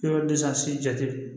Yɔrɔ den san si jate